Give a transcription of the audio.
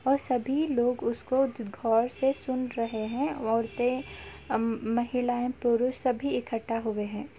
और सभी लोग उसको द गौर से सुन रहे हैं औरते म महिलाये पुरुष सभी इक्कठा हुए हैं |